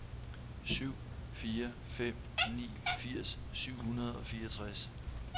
syv fire fem ni firs syv hundrede og fireogtres